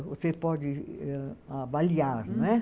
Você pode avaliar, não é?